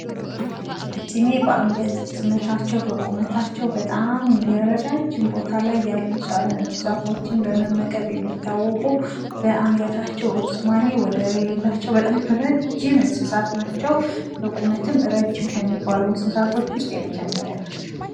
ቀጭኔ በአንገታቸው ርዝመት በቁመታቸው በጣም ትልቅ ቦታ ላይ ያሉ ዛፎችን በመመገብ የሚታወቁ በአንገታቸው ርዝማኔ ወደር የሌላቸው በጣም ረዥም እንስሳት ናቸው። በቁመታቸው ረዥም ከሚባሉ እንስሳት ውስጥ የመጀመሪያ ናቸው።